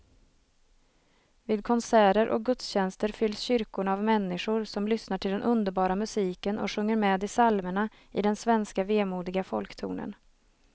Vid konserter och gudstjänster fylls kyrkorna av människor som lyssnar till den underbara musiken och sjunger med i psalmerna i den svenska vemodiga folktonen.